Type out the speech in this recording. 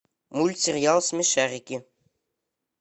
мультсериал смешарики